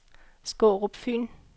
Skårup Fyn